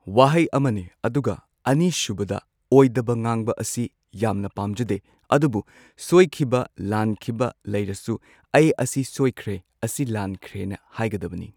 ꯋꯥꯍꯩ ꯑꯃꯅꯦ ꯑꯗꯨꯒ ꯑꯅꯤꯁꯨꯕꯗ ꯑꯣꯏꯗꯕ ꯉꯥꯡꯕ ꯑꯁꯤ ꯌꯥꯝꯅ ꯄꯥꯝꯖꯗꯦ ꯑꯗꯨꯕꯨ ꯁꯣꯏꯈꯤꯕ ꯂꯥꯟꯈꯤꯕ ꯂꯩꯔꯁꯨ ꯑꯩ ꯁꯤ ꯁꯣꯏꯈ꯭ꯔꯦ ꯑꯁꯤ ꯂꯥꯟꯈ꯭ꯔꯦꯅ ꯍꯥꯏꯒꯗꯕꯅꯤ꯫